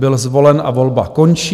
Byl zvolen a volba končí.